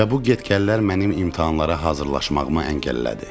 Və bu get-gəllər mənim imtahanlara hazırlaşmağıma əngəllədi.